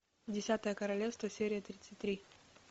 десятое королевство серия тридцать три